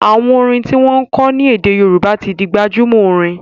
àwọn orin ti wón kò ní ede Yoruba tí ń dì gbajúmò Orin.